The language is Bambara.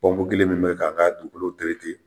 kelen min bɛ ka k'a dugukolow tereke